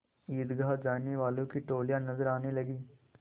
ईदगाह जाने वालों की टोलियाँ नजर आने लगीं